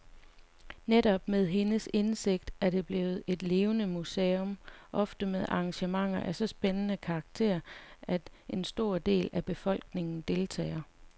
Netop med hendes indsigt er det blevet et levende museum, ofte med arrangementer af så spændende karakter, at en stor del af befolkningen deltager.